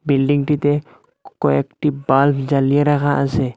বিল্ডিংটিতে ক-ক-কয়েকটি বাল্ব জ্বালিয়ে রাখা আছে।